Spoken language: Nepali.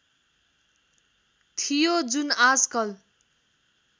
थियो जुन आजकल